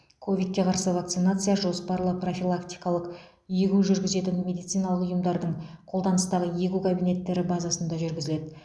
ковидке қарсы вакцинация жоспарлы профилактикалық егу жүргізетін медициналық ұйымдардың қолданыстағы егу кабинеттері базасында жүргізіледі